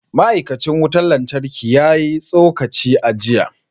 Ma’aikacin wutar lantarki ya yi tsokaci a jiya